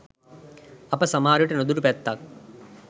අප සමහරවිට නොදුටු පැත්තක්